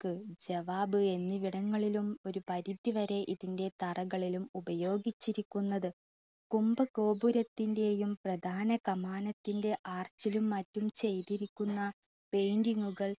ജവാബ് എന്നിവിടങ്ങളിലും ഒരു പരുതി വരെ ഇതിൻ്റെ തറകളിലും ഉപയോഗിച്ചിരിക്കുന്നത്. കുഭ ഗോപുരത്തിൻ്റെയും പ്രദാന കാമനത്തിൻ്റെ arch ലും മറ്റും ചെയ്തിരിക്കുന്ന paint കൾ